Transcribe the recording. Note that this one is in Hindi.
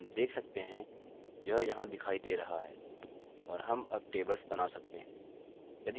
हम देख सकते हैं यह यहाँ दिखाई दे रहा है और हम अब टेबल्स बना सकते हैं